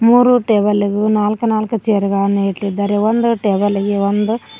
ಮೂರು ಟೇಬಲ್ ಇಗೂ ನಾಲ್ಕ್ ನಾಲ್ಕ್ ಚೇರು ಗಳನ್ನು ಇಟ್ಟಿದ್ದಾರೆ ಒಂದು ಟೇಬಲ್ ಇಗೆ ಒಂದು --